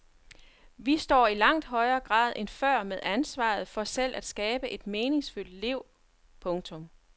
Vi står i langt højere grad end før med ansvaret for selv at skabe et meningsfyldt liv. punktum